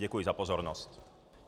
Děkuji za pozornost.